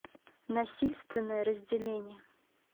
насильственное разделение